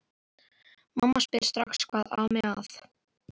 Mamma spyr strax hvað ami að.